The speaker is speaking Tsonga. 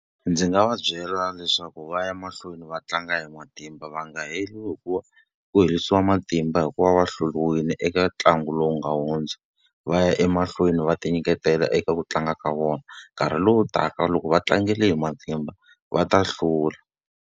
Ndzi nga va byela leswaku va ya mahlweni va tlanga hi matimba va nga heli ku herisiwa matimba hikuva va hluriwile eka ntlangu lowu nga hundza. Va ya emahlweni va tinyiketela eka ku tlanga ka vona. Nkarhi lowu taka loko va tlangile hi matimba, va ta hlula.